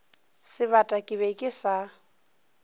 sebata ke be ke sa